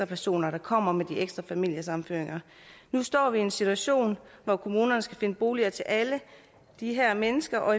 personer der kommer med de ekstra familiesammenføringer nu står vi i en situation hvor kommunerne skal finde boliger til alle de her mennesker og